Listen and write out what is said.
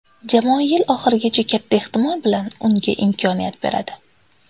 Jamoa yil oxirigicha katta ehtimol bilan unga imkoniyat beradi.